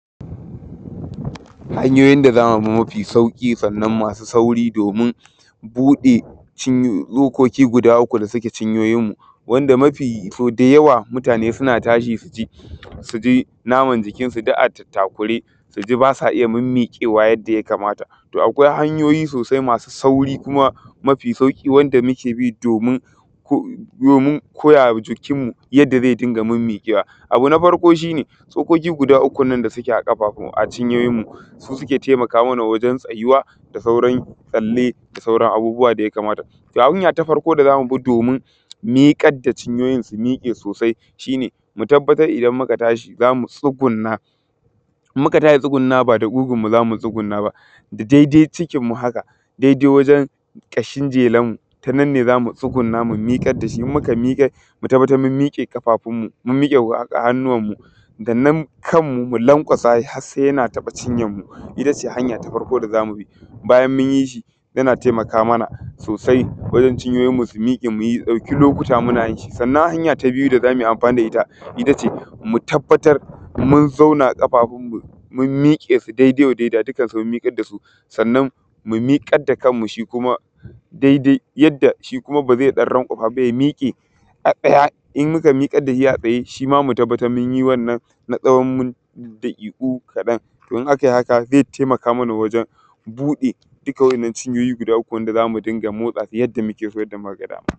Hanyoyin da za mu bi mafi sauƙi sannan masu sauri domin buɗe ciny; tsokoki guda uku da suke cinyoyinmu, wanda mafi; so da yawa mutane suna tashi su ji, su ji naman jikinsu duk a tattakure. Su ji ba sa iya mimmiƙewa yadda ya kamata, to akwai hanyoyin sosai masu sauri kuma mafi sauƙi wanda muke bi domin ko; domin koya wa jikinmu yadda ze dinga mimmiƙewa. Abu na farko shi ne, tsokoki guda uku da suke a ƙafafu; a cinyoyinmu, su suke temaka mana wajen tsayuwa da sauran tsalle, da sauran abubuwa da ya kamata. Hanya ta farko da za mu bi domin miƙad da cinyoyin su miƙe sosai shi ne, mu tabbatar idan muka tashi, za mu tsugunna, in muka tashi tsugunnawa ba da ƙugunmu za mu tsugunna ba, da dede cikinmu haka, dede wajen ƙashin jelanmu, ta nan ne za mu tsugunna mu miƙad da shi, in mika miƙar mu tabbatar mum miƙe ƙafafunmu, mum miƙe wa; ƙ; hannuwanmu, da nan kanmu mu lanƙwasa has se yana taƃa cinyanmu, ita ce hanya ta farko da za mu bi. Bayan min yi shi, yana temaka mana sosai wajen cinyoyinmu su miƙe miy ɗauki lokuta muna yin shi. Sannan, hanya ta biyu da za mui amfani da ita ita ce, mu tabbatar mun zauna ƙafafunmu, mun miƙe su dede wa deda, dukkansu mun miƙad da su. Sannan, mu miƙad da kanmu shi kuma dede yadda shi kuma ba ze ɗan ranƙwafa ba, ya miƙe a ɗaya, in muka miƙad da hi a tsaye, shi ma mu tabbatar mun yi wannan na tsawon min; daƙiƙu kaɗan. To, in akai haka, ze temaka mana wajen buɗe dika wa’yannan cinyoyi guda uku wanda za mu dinga motsa su yadda muke so, yadda muka ga dama.